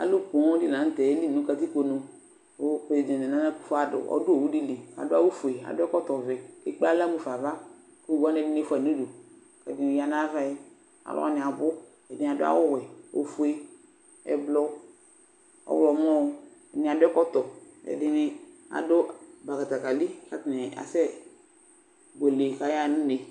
Alʋ poo dɩnɩ la nʋ tɛ yeli nʋ katikponu kʋ prezidɛn nana akufo ado ɔdʋ owu dɩ li Adʋ awʋfue, adʋ ɛkɔtɔvɛ kʋ ekple aɣla mu fa ava kʋ owu wanɩ, ɛdɩnɩ fʋa yɩ nʋ udu kʋ ɛdɩnɩ ya nʋ ava yɛ Alʋ wanɩ abʋ Ɛdɩnɩ, adʋ awʋwɛ, ofue, ɛblɔ, ɔɣlɔmɔ Ɛdɩnɩ adʋ ɛkɔtɔ kʋ ɛdɩnɩ adʋ bakatakalɩ kʋ atanɩ asɛbuele kʋ ayaɣa nʋ une